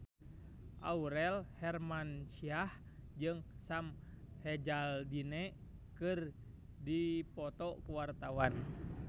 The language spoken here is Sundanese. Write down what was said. Aurel Hermansyah jeung Sam Hazeldine keur dipoto ku wartawan